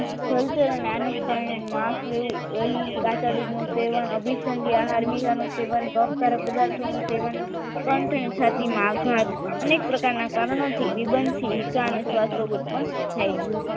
જલચરણ અને આનુંશ પ્રાણીનું માસ એવું અહીં કાચા દૂધનું સેવન અભિસંધાન હાર્વી અહેવાલનું સેવન કફ કારક પદાર્થોનું સેવન કંઠ અને છાતીમાં આઘાત અનેક પ્રકારના કારણોથી નિબંધથી ઇકા અને શ્વાસ ઉત્પન્ન થાય છે